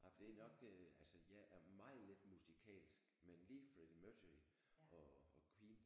Ej det er nok det altså jeg er meget lidt musikalsk men lige Freddie Mercury og og Queen